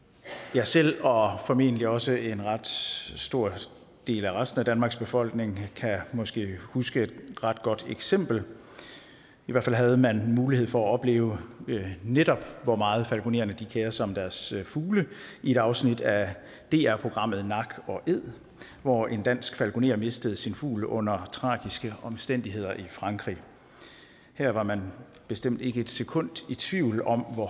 jeg selv og formentlig også en ret stor del af resten af danmarks befolkning kan måske huske et ret godt eksempel i hvert fald havde man mulighed for at opleve netop hvor meget falkonererne kerer sig om deres fugle i et afsnit af dr programmet nak og æd hvor en dansk falkoner mistede sin fugl under tragiske omstændigheder i frankrig her var man bestemt ikke et sekund i tvivl om hvor